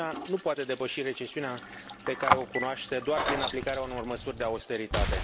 Uniunea nu poate depăși recesiunea pe care o cunoaște doar prin aplicarea unor măsuri de austeritate.